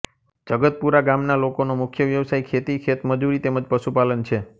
જગતપુરા ગામના લોકોનો મુખ્ય વ્યવસાય ખેતી ખેતમજૂરી તેમ જ પશુપાલન છે